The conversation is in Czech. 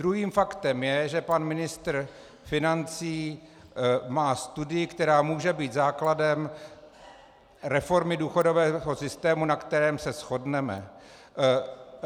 Druhým faktem je, že pan ministr financí má studii, která může být základem reformy důchodového systému, na kterém se shodneme.